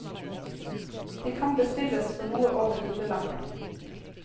De kan bestilles for noe over hundrelappen.